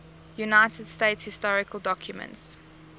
united states historical documents